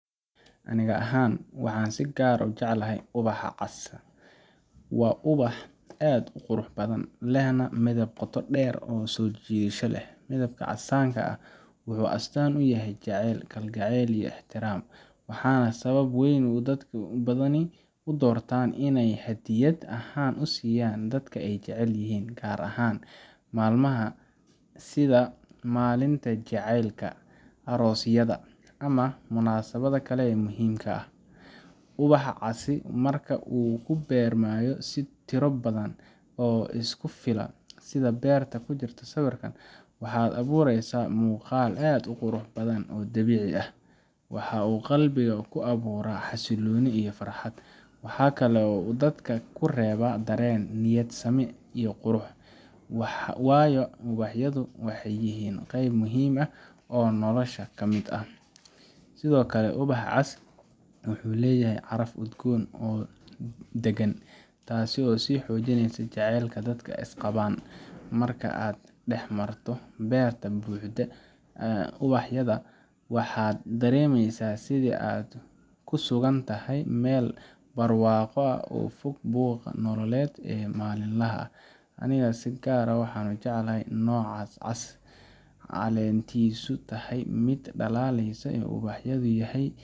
Aniga ahaan, waxaan si gaar ah u jecelahay ubaxa cas. Waa ubax aad u qurux badan, lehna midab qoto dheer oo soo jiidasho leh. Midabka casaanka ahi wuxuu astaan u yahay jacayl, kalgacal iyo ixtiraam, waana sababta ugu weyn ee dad badani u doortaan inay hadiyad ahaan u siiyaan dadka ay jecel yihiin, gaar ahaan maalmaha sida maalinta jacaylka aroosyada, ama munaasabadaha kale ee muhiimka ah. Ubaxa casi marka uu ku beermayo si tiro badan oo isku fila, sida beerta ku jirta sawirka, wuxuu abuuraysaa muuqaal aad u qurux badan oo dabiici ah. Waxa uu qalbiga ku abuuraa xasillooni iyo farxad. Waxaa kale oo uu dadka ku reebaa dareen niyad sami iyo qurux, waayo ubaxyadu waxay yihiin qayb muhiim ah oo nolosha ka mid ah. Sidoo kale, ubaxa cas wuxuu leeyahay caraf udgoon oo dagan, taasoo sii xoojinaysa jaceylka dadka u qabaan. Marka aad dhex marto beer buuxda oo roses ah, waxaad dareemaysaa sidii in aad ku sugan tahay meel barwaaqo ah oo ka fog buuqa nololeed ee maalinlaha ah. Aniga si gaar ah waxaan u jecelahay nooca cas ee caleentiisu tahay mid dhalaalaysa oo ubaxeedu yahay